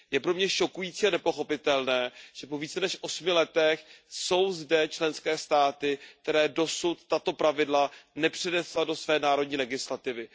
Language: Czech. Je pro mě šokující a nepochopitelné, že po více než osmi letech jsou zde členské státy, které tato pravidla dosud nepřenesly do své národní legislativy.